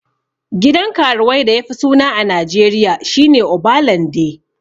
Gidan karuwai da yafi suna a najeriya shine obalande